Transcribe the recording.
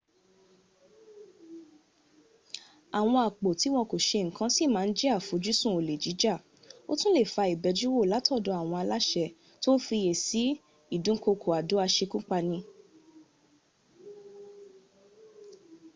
àwọn àpò tí wọn kò se ǹkan sí ma ń jẹ́ àfojúsùn olè jíjà ó tún lè fa ìbẹjúwò látọ̀dọ̀ àwọn aláṣẹ́ tó ń fiyè sí ìdúnkokò àdó asekúpani